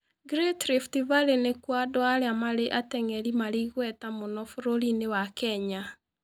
Great Rift Valley nĩkuo andũ arĩa marĩ ateng'eri marĩ igweta mũno bũrũri-inĩ wa Kenya.